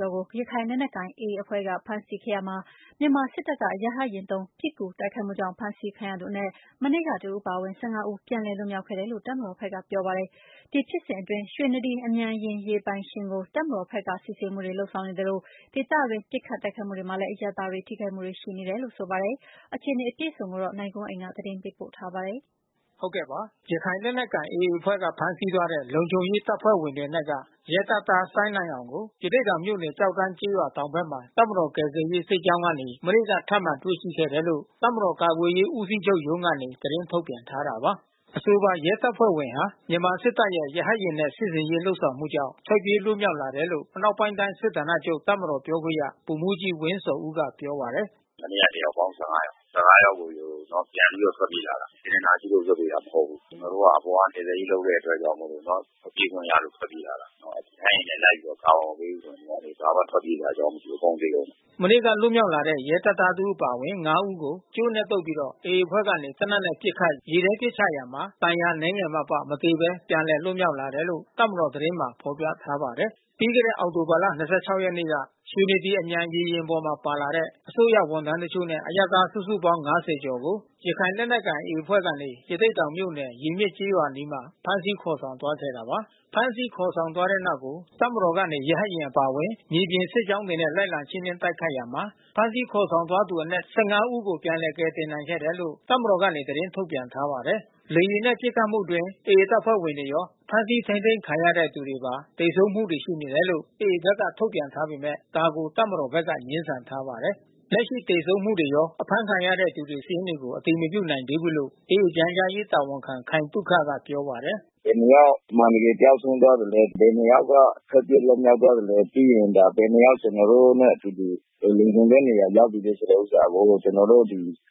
ျော်ကို ရခိုင်လက်နက်ကိုင်AAအဖွဲ့က ဖမ်းဆီးခဲ့ရာမှာ မြန်မာစစ်တပ်ကနေရဟတ်ယာဉ်သုံး ပစ်ကူ တိုက်ခိုက်မှုကြောင့် ဖမ်းဆီးခံရသူအနက် မနေ့ကတဦးအပါဝင် ဦး ပြန်လည်လွတ်မြောက်ခဲ့တယ်လို့ တပ်မတော် ဖက်ကပြောပါတယ်။ ဒီဖြစ်စဉ်အတွင်း ရွှေနဒီအမြန်ရေယာဉ်ပိုင်ရှင်ကို တပ်မတော်ဖက်က စစ်ဆေးမှုတွေလုပ်ဆောင် နေသလို ဒေသအတွင်းပစ်ခတ်တိုက်ခိုက်မှုတွေမှာလဲ အရပ်သားတွေထိခိုက်မှုတွေရှိနေတာပါ။ ဒီအခြေအနေကို ဗွီအိုအေမြန်မာပိုင်းသတင်းထောက်နိုင်ကွန်းအိန်ကနေ သတင်းပေးပို့ထားပါတယ်။ ရခိုင်လက်နက်ကိုင်AAအဖွဲ့က ဖမ်းဆီးသွားတဲ့ လုံခြုံရေးတပ်ဖွဲ့ဝင်တွေအနက်က ရဲတပ်သား စိုင်းနိုင်အောင်ကို ရသေ့တောင်မြို့နယ် ကျောက်တန်းကျေးရွာတောင်ဖက်မှာ တပ်မတော်ကယ်ဆယ်ရေး စစ်ကြောင်းကနေ မနေ့က ထပ်မံတွေ့ရှိခဲ့တယ်လို့ တပ်မတော် ကာကွယ်ရေးဦးစီးချုပ်ရုံးကနေ သတင်းထုတ်ပြန်ထားတာပါ။ အဆိုပါရဲတပ်ဖွဲ့ဝင်ဟာ မြန်မာစစ်တပ်ရဲ့ရဟတ်ယာဉ်နဲ့ စစ်ဆင်ရေးလုပ်ဆောင်မှုကြောင့် ထွက်ပြေးလွတ်မြောက် လာတယ်လို့ အနောက်ပိုင်းတိုင်း စစ်ဌာနချုပ် တပ်မတော်ပြောခွင့်ရဗိုလ်မှူးကြီးဝင်းဇော်ဦးကပြောပါတယ်။ “မနေ့က တယောက်ပေါင်း ယောက်။ ယောက်ကို ပြန်ပြီးထွက်ပြေးလာတာ။ စေတနာရှိလို့လွှတ်ပေးတာ မဟုတ်ဘူး။ ကျွန်တော်တို့အပေါ်က ကယ်ဆယ်ရေးလုပ်တဲ့အတွက်ကြောင့်မို့လို့ ပြေးခွင့်ရလို့ထွက်ပြေးလာတာနော်။ ရဟတ်ယာဉ်နဲ့လိုက်ပြီး ကာဗာမပေးဘူးဆိုရင် ဘာမှထွက်ပြေးစရာအကြောင်းမရှိဘူး။ အကုန်သေကုန်မယ်။” မနေ့ကလွတ်မြောက်လာတဲ့ရဲတပ်သားတဦးအပါဝင် ဦးကို ကြိုးနဲ့တုတ်ပြီး AAအဖွဲ့ကနေ သေနတ်နဲ့ပစ်ခတ် ရေထဲပစ်ချရာမှာ ဒဏ်ရာအနည်းငယ်မှအပ မသေဘဲ ပြန်လည်လွတ်မြောက်လာတယ်လို့ တပ်မတော်သတင်းမှာ ဖေါ်ပြထားပါတယ်။ ပြီးခဲ့တဲ့အောက်တိုဘာလ ၂၆ ရက်နေ့က ရွှေနဒီ အမြန်ရေယာဉ်ပေါ်မှာပါလာတဲ့ စစ်တပ် ရဲ အစိုးရဝန်ထမ်းတချို့နဲ့ အရပ်သားစုစုပေါင်း ကျော်ကို ရခိုင်လက်နက်ကိုင်AAအဖွဲ့ကနေ ရသေ့တောင်မြို့နယ် ရေမျက်ကျေးရွာအနီး ဖမ်းဆီးခေါ်ဆောင်သွားခဲ့တာပါ။ ဖမ်းဆီးခေါ်ဆောင်သွားတဲ့နောက်ကို တပ်မတော်ကနေ ရဟတ်ယာဉ်အပါဝင်မြေပြင် စစ်ကြောင်း တွေနဲ့ လိုက်လံရှင်းလင်းတိုက်ခိုက်ရာမှာ ဖမ်းဆီးခေါ်ဆောင် သွားသူအနက် ၁၅ ဦးကို ပြန်လည် ကယ်တင်နိုင်ခဲ့ တယ်လို့ တပ်မတော်ကနေသတင်းထုတ်ပြန်ထားပါတယ်။ လေယာဉ်နဲ့ပစ်ခတ်မှုအတွင်း AAတပ်ဖွဲ့ဝင်တွေရော ဖမ်းဆီးထိန်းသိမ်းခံရတဲ့သူတွေရော သေဆုံးမှုတွေ ရှိနေ တယ်လို့ AAဖက်ကထုတ်ပြန်ထားပေမဲ့ ဒါကိုတပ်မတော်ဖက်က ငြင်းဆန်ထားပါတယ်။ လက်ရှိသေဆုံးမှုတွေရော အဖမ်းခံရတဲ့သူတွေစာရင်းတွေကို အတည်မပြုနိုင်သေးဘူးလို့ AA ပြန်ကြားရေးတာဝန်ခံ ခိုင်သုခကပြောပါတယ်။ “ဘယ်နှစ်ယောက်အမှန်တကယ်ကျဆုံးသွားသလဲ။ ဘယ်နှစ်ယောက်က ထွက်ပြေး လွတ်မြောက် သွားသလဲ ဘယ်နှစ် ယောက်ကျွန်တော်တို့နဲ့အတူတူ လုံခြုံတဲ့ နေရာ ရောက်ပြီးလဲဆိုတာကို ကျွန်တော်တို့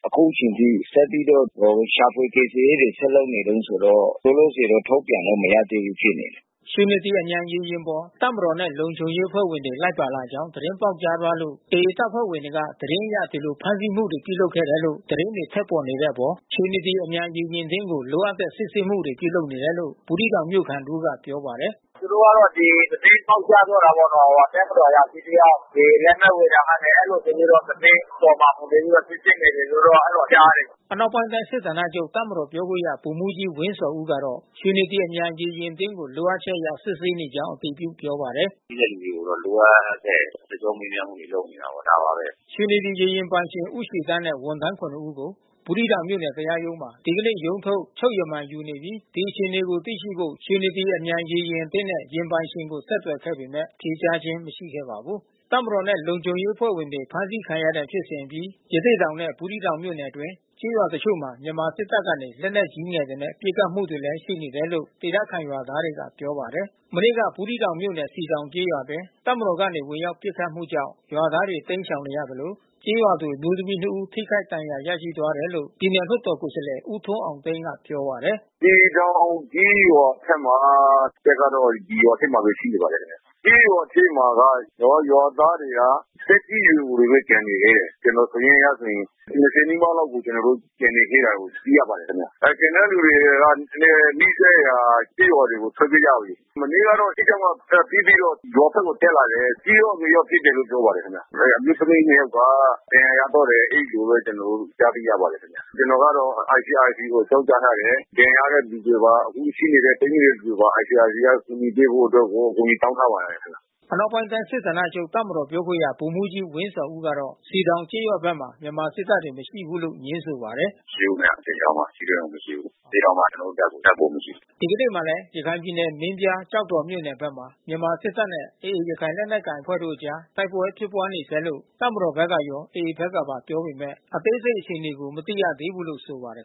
အခုချိန်ထိ ကျွန်တော်တို့ ဒီ ရှာဖွေကယ်ဆယ်ရေးတွေဆက်လုပ်နေတုန်းဆိုတော့ လောလောဆယ်တော့ထုတ်ပြန်လို့မရသေးဘူးဖြစ်နေတယ်။” ရွှေနဒီအမြန်ရေယာဉ်ပေါ် တပ်မတော်နဲ့လုံခြုံရေးတပ်ဖွဲ့ဝင်တွေလိုက်ပါလာကြောင်း သတင်းပေါက်ကြားသွားလို့ AAတပ်ဖွဲ့တွေက သတင်းအရ ဒီလိုဖမ်းဆီးမှုတွေပြုလုပ်ခဲ့တယ်လို့ သတင်းတွေထွက်ပေါ်နေတဲ့အတွက် ရွှေနဒီ အမြန်ရေယာဉ် အသင်းကို လိုအပ်တဲ့စစ်ဆေးမှုပြုလုပ်နေတယ်လို့ ဘူးသီးတောင်မြို့ခံတဦးကပြောပါတယ်။ “သူတို့ကဒီသတင်းပေါက်ကြားသွားတာပေါ့နော်။ တပ်မတော်အရာရှိတယောက် ရေယာဉ် လက်မှတ်ဝယ်ရာကနေ အဲဒီလိုဆိုပြီးတော့ သတင်းခေါ်မှာဆိုပြီးတော့ စစ်ဆေးနေ တယ်လို့တော့ကြားတယ်။ ” အနောက်ပိုင်းတိုင်းစစ်ဌာနချုပ်တပ်မတော်ပြောခွင့်ရဗိုလ်မှူးကြီးဝင်းဇော်ဦးကတော့ ရွှေနဒီအမြန်ရေယာဉ်အသင်းကို လိုအပ်ချက်အရစစ်ဆေးနေကြောင်းအတည်ပြုပြောပါတယ်။ “ရှိတဲ့လူတွေကိုတော့ လိုအပ်တဲ့ စစ်ကြောမေးမြန်းမှုတွေ လုပ်နေတယ်။ ဒါပါဘဲ။ ” ရွှေနဒီရေယာဉ်ပိုင်ရှင်ဦးရွှေသန်းနဲ့ဝန်ထမ်း ၇ ယောက်ကို ဘူးသီးတောင်မြို့နယ်တရားရုံးမှာ ဒီကနေ့ ရုံးထုတ် ချုပ်ရမန်ယူနေပြီး ဒီအခြေအနေကိုသိရှိဖို့ ရွှေနဒီအမြန်ရေယာဉ် အသင်းနဲ့ယာဉ်ပိုင်ရှင်ကိုဆက်သွယ်ခဲ့ပေမဲ့ ဖြေကြားခြင်း မရှိခဲ့ပါဘူး။ တပ်မတော်နဲ့လုံခြုံရေးတပ်ဖွဲ့ဝင်တွေဖမ်းဆီးခံတဲ့ဖြစ်စဉ်အပြီး ရသေ့တောင် နဲ့ဘူးသီးတောင်မြို့နယ်အတွင်း ကျေးရွာ တချို့မှာ မြန်မာစစ်တပ်ကနေ လက်နက်ကြီးငယ်တွေ နဲ့ပစ်ခတ်မှုတွေရှိနေတယ်လို့ဒေသခံရွာသားတွေက ပြောပါ တယ်။ မနေ့က ဘူးသီးတောင်မြို့နယ် စည်တောင်ကျေးရွာအတွင်း စစ်တပ်ကနေဝင်ရောက်ပစ်ခတ်မှုကြောင့် ရွာသားတွေ တိမ်းရှောင်နေရသလို ကျေးရွာသူအမျိုးသမီး ဦးထိခိုက်ဒဏ်ရာရသွားတယ်လို့ ပြည်နယ်လွှတ်တော်ကိုယ်စား လှယ် ဦးထွန်းအောင်သိန်းကပြောပါတယ်။ “စည်တောင်ကျေးရွာထဲမှာ တပ်ကတော့ရွာထဲမှာဘဲရှိနေပါတယ်ခင်ဗျ။ ကျေးရွာထဲမှာက ရွာသားတွေက သက်ကြီး ရွယ်အိုတွေဘဲကျန်နေသေးတယ်။ ကျွန်တော်စာရင်းအရဆိုရင် နီးပါးလောက်ကို ကျွန်တော်တို့ကျန်နေသေး တာကိုသိရပါတယ်ခင်ဗျ။ ကျန်တဲ့လူတွေကလဲနီးစပ်ရာကျေးရွာတွေကိုထွက်ပြေးကြပြီးလေ။ မနေ့ကတော့စစ်ကြောင်း ကပစ်ပြီးတော့ရွာဖက်ကိုတက်လာတယ်။ အကြီးရော အငယ်ရော ပစ်တယ်လို့ပြောပါတယ်ခင်ဗျ။ အမျိုးသမီးနှစ် ယောက်က ဒဏ်ရာရသွားတယ် အဲဒီလိုဘဲကျွန်တော်တို့ကြားသိရပါတယ်။ ကျွန်တော်ကတော့ICRCကို အကြောင်း ကြားထားတယ်။ ဒဏ်ရာရတဲ့သူတွေပါ အခုရှိနေတဲ့ ပိတ်မိနေတဲ့သူတွေပါ ICRCကအကူညီပေးဖို့အတွက် ကိုအကူ ညီတောင်းထားပါတယ်။” အနောက်ပိုင်းတိုင်း စစ်ဌာနချုပ်တပ်မတော်ပြောခွင့်ရဗိုလ်မှူးကြီးဝင်းဇော်ဦးကတော့ စည်တောင်ကျေးရွာ ဘက်မှာ မြန်မာစစ်တပ်တွေမရှိဘူးလို့ငြင်းဆိုပါတယ်။ “မရှိဘူးခင်ဗျ။ စည်တောင်မှာထိတွေ့မှုမရှိဘူး။ စည်တောင်မှာကျွန်တော်တို့တပ်ကိုမရှိဘူး။” ဒီကနေ့မှာလဲရခိုင်ပြည်နယ် မင်းပြား ကျောက်တော်မြို့နယ်ဖက်မှာ မြန်မာစစ်တပ်နဲ့ AA ရခိုင်လက်နက်ကိုင် အဖွဲ့တို့ အကြားတိုက်ပွဲဖြစ်ပွါးနေဆဲလို့ တပ်မတော်ဖက်ကရော AAဖက်ကပါ ပြောပေမဲ့ အသေးစိတ်အခြေအနေကို မသိရ သေးဘူးလို့ဆိုပါတယ်